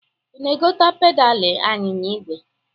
Ị na-egote pedalị anyịnya igwe?